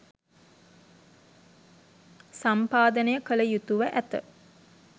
සම්පාදනය කළ යුතුව ඇත.